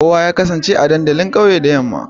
Kowa ya kasance a dandalin kauye da yamma.